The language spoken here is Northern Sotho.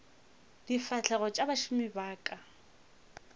difahlegong tša bašomi ba ka